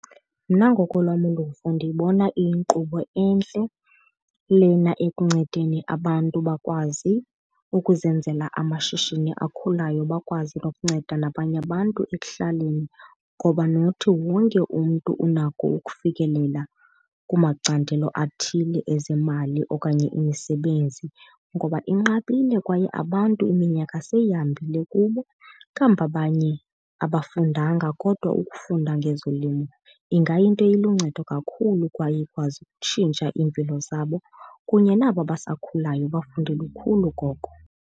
Mna ngokolwam uluvo ndiyibona iyinkqubo entle lena ekuncedeni abantu bakwazi ukuzenzela amashishini akhulayo bakwazi nokunceda nabanye abantu ekuhlaleni. Ngoba not wonke umntu unako ukufikelela kumacandelo athile ezemali okanye imisebenzi ngoba inqabile kwaye abantu iminyaka seyihambile kubo, kambi abanye abafundanga. Kodwa ukufunda ngezolimo ingayinto eluncedo kakhulu kwaye ikwazi ukutshintsha iimpilo zabo, kunye nabo basakhulayo bafunde lukhulu koko.